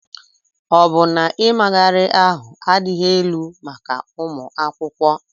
Ọ bụ na ịmagharị ahụ adịghị elu maka ụmụ akwụkwọ?